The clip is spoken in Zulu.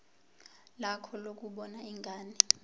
lakho lokubona ingane